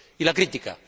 Y la crítica.